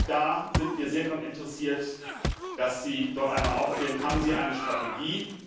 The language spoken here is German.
Da sind wir sehr daran interessiert, dass Sie dort einmal aufklären Haben Sie dort eine Strategie?